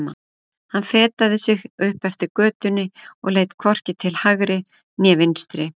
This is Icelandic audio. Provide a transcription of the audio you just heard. Hann fetaði sig upp eftir götunni og leit hvorki til hægri né vinstri.